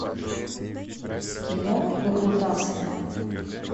кино выкрутасы